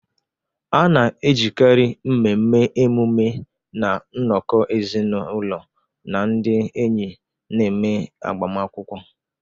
A na-ejikarị mmemme, emume, na nnọkọ ezinụlọ na ndị enyi na-eme agbamakwụkwọ.